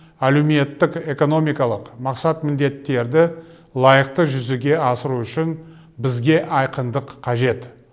әлеуметтік экономикалық мақсат міндеттерді лайықты жүзеге асыру үшін бізге айқындық қажет